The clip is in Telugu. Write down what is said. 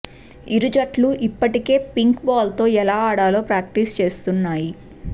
ఇరు జట్లు ఇప్పటికే పింక్ బాల్తో ఎలా ఆడాలో ప్రాక్టీస్ చేస్తున్నాయి